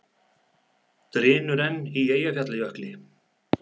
Drynur enn í Eyjafjallajökli